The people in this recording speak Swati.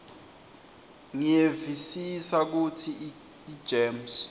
ngiyevisisa kutsi igems